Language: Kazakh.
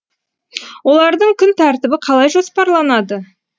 олардың күн тәртібі қалай жоспарланады